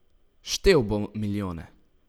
Štel bom milijone.